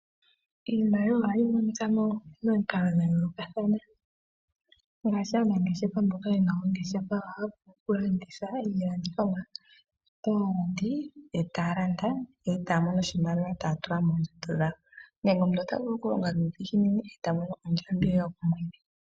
Iimaliwa ohayi monika momikalo dha yoolokathana. Aanangeshefa mboka ye na oongeshefa ohaa vulu okulanditha iilandithomwa yawo kaalandi, e taa mono oshimaliwa shomondjato, nenge omuntu ota vulu okulonga nuudhiginini e ta mono ondjambi ye yokomwedhi.